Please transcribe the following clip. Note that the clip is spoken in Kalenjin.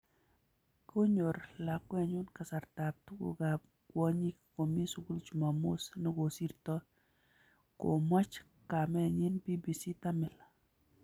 "Konyor lakwenyu kasartab tuguk ab kwonyik komi sugul chumamos nekosirtoi." Komwach kamenyi BBC tamil